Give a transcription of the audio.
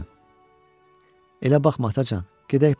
Elə baxma Atacan, gedək burdan.